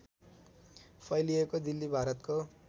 फैलिएको दिल्ली भारतको